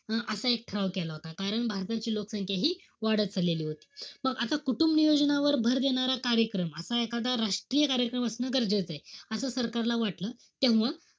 असा एक ठराव केला होता. कारण भारताची लोकसंख्या हि वाढत चाललेली होती. मग आता कुटुंबनियोजनावर भर देणारा कार्यक्रम किंवा एखादा राष्ट्रीय कार्यक्रम असणं गरजेचंय. असं सरकारला वाटलं. तेव्हा,